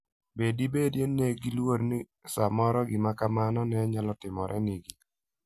Be dibed ni ne giluor ni samoro gima kamano ne nyalo timorenegi?